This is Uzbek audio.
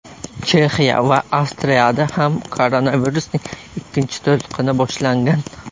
Chexiya va Avstriyada ham koronavirusning ikkinchi to‘lqini boshlangan.